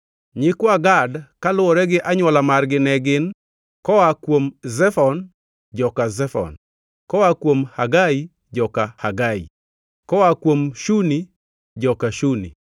Nyikwa Gad kaluwore gi anywola margi ne gin: koa kuom Zefon, joka Zefon; koa kuom Hagai, joka Hagi; koa kuom Shuni, joka Shuni;